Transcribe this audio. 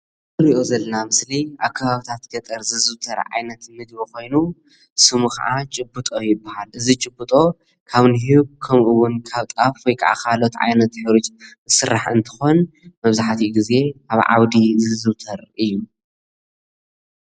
እዚ ንሪኦ ዘለና ምስሊ ኣብ ከባብታት ገጠር ዝዝዉተር ዓይነት ምግቢ ኮይኑ ሽሙ ከዓ ጭብጦ ይበሃል እዚ ጭብጦ ካብ ኒሁግ ከምኡ እዉን ካብ ጣፍ ወይከዓ ካልኦት ዓይነታት ሕሩጭ ዝስራሕ እንትኮን መብዛሕቲኡ ግዘ ኣብ ዓዉዲ ዝዝዉተር እዩ።